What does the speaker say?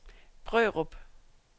Brørup